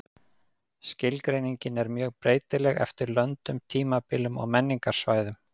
Skilgreiningin er mjög breytileg eftir löndum, tímabilum og menningarsvæðum.